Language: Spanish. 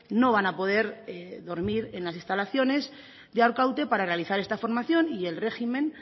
no van a poder dormir en las instalaciones de arkaute para realizar esta formación y el régimen